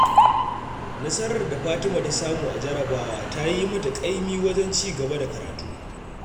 Nasarar da Fatima ta samu a jarrabawa ta yi mata ƙaimi wajen ci gaba da karatu